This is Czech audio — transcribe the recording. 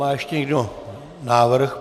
Má ještě někdo návrh?